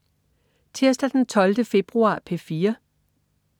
Tirsdag den 12. februar - P4: